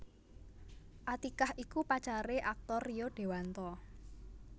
Atiqah iku pacare aktor Rio Dewanto